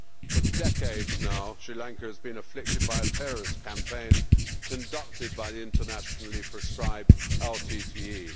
For decades now, Sri Lanka has been afflicted by a terrorist campaign conducted by the internationally proscribed LTTE.